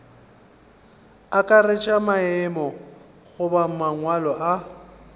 akaretša maemo goba mangwalo a